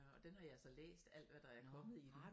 Og den har jeg så læst alt hvad der er kommet i den